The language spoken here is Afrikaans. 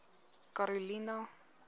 karolina